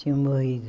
Tinham morrido.